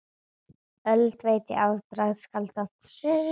Öld veit ég afbragð skálda!